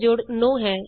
ਜੋੜ 10 ਤੋਂ ਘਟ ਹੈ